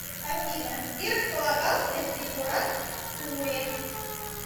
афина где располагался зиккурат в уре